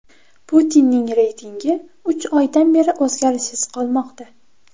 Putinning reytingi uch oydan beri o‘zgarishsiz qolmoqda.